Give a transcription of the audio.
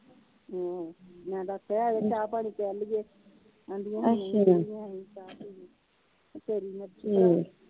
ਹਮ ਮੈ ਤਾ ਆਖਿਆ ਹੀ ਆਜੋ ਚਾਹ ਪਾਣੀ ਪਿਆਲੀਏ ਆਦੀਆਂ ਹੀ ਤੇਰੀ ਮਰਜੀ ਭਰਾ